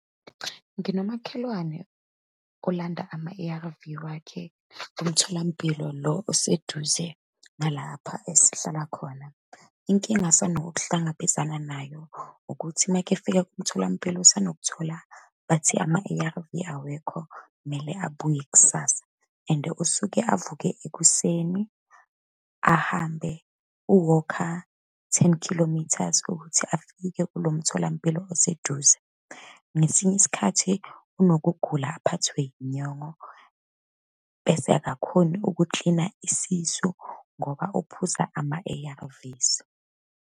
Nginomakhelwane olanda ama-A_R_V wakhe emtholampilo lo oseduze ngalapha esihlala khona. Inkinga asanok'hlangabezana nayo, ukuthi uma-ke efika kumtholampilo usanokuthola bathi ama-A_R_V awekho, kumele abuye kusasa and usuke avuke ekuseni, ahambe, u-walk-a ten kilometers ukuthi afike kulo mtholampilo oseduze. Ngesinye isikhathi unokugula aphathwe yinyongo, bese akakhoni ukukilina isisu, ngoba uphuza ama-A_R_Vs.